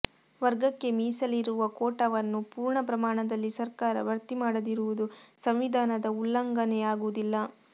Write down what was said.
ವರ್ಗಕ್ಕೆ ಮೀಸಲಿರಿರುವ ಕೋಟಾವನ್ನು ಪೂರ್ಣ ಪ್ರಮಾಣದಲ್ಲಿ ಸರ್ಕಾರ ಭರ್ತಿ ಮಾಡದಿರುವುದು ಸಂವಿಧಾನದ ಉಲ್ಲಂಘನೆಯಾಗುವುದಿಲ್ಲ